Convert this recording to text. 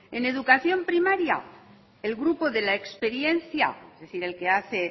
en educación primaria el grupo de la experiencia es decir el que hace